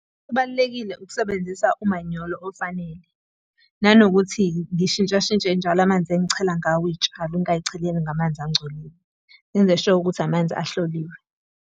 Kubalulekile ukusebenzisa umanyolo ofanele. Nanokuthi ngishintsha shintshe njalo amanzi engichela ngawo iy'tshalo ungay'cheleli ngamanzi angcolile. Ngenze sure ukuthi amanzi ahloliwe.